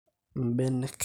imm`benek